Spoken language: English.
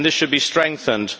This should be strengthened.